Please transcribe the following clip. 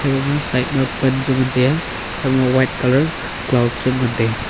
haiboma side ma pan chu ngantaiya haiboma white colour cloud sam ngantaiya.